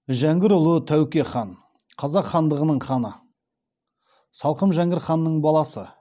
жәңгірұлы тәуке хан қазақ хандығының ханы салқам жәңгір ханның баласы